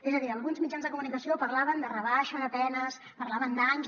és a dir alguns mitjans de comunicació parlaven de rebaixa de penes parlaven d’anys